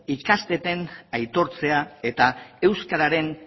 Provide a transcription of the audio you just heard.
ikasteetan aitortzea eta euskararen